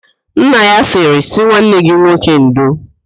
Nna ya sịrị, sị nwanne gị nwoke ndo!